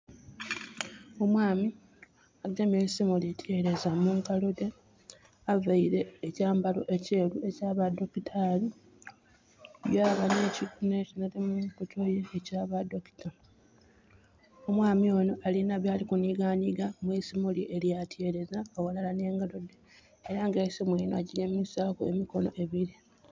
Omwami agemye eisimu lityereeza mu ngalo dhe. Availe ekyambalo ekyeeru ekya ba dakitali yaba <not audible> ekya ba doctor. Omwami onho alinha byali kunhiganhiga mu isimu lye elya tyeereza ghalala nh'engalo dhe. Era nga eisimu linho agemisaaku emikono ebili.